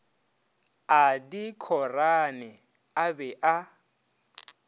a dikhorane a be a